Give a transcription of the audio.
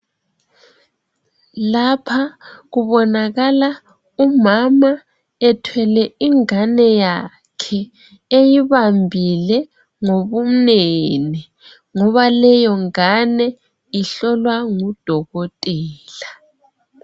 Lapha kubonakala umama ethwele ingabe yakhe eyibambile ngobumnene ngoba leyongane ihlolwa ngudokotela.